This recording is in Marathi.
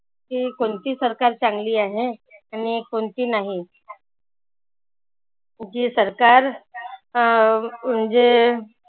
की कोणती सरकार चांगली आहे. आणि कोणती नाही. जी सरकार अह म्हणजे